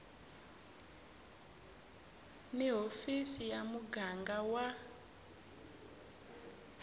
ni hofisi ya muganga wa